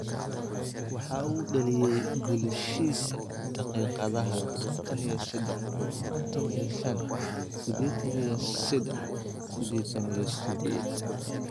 Waxa uu dhaliyay goolashiisa daqiiqadaha konton iyo sedax, konton iyo shaan, sidetaan iyo sedax, sidentan iyo sideed.